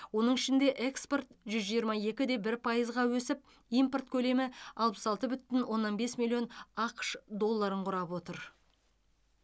оның ішінде экспорт жүз жиырма екі де бір пайызға өсіп импорт көлемі алпыс алты бүтін оннан бес миллион ақш долларын құрап отыр